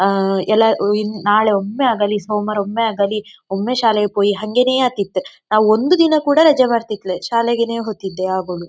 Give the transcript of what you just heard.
ಆಂ ಎಲ್ಲ ಉಂ ನಾಳೆ ಒಮ್ಮೆ ಆಗಲಿ ಸೋಮ್ವಾರ ಒಮ್ಮೆ ಆಗಲಿ ಒಮ್ಮೆ ಶಾಲೆಗೆ ಪೋಯಿ ಹಂಗೆನೇ ಆಕ್ತಿತ್ತು ನಾ ಒಂದು ದಿನ ಕೂಡ ರಜೆ ಮಾಡ್ತಿದ್ದಿಲ್ಲೆ ಶಾಲೆಗೆನೇ ಹೋಗ್ತಿದ್ದೆ ಯಾವಾಗ್ಲು.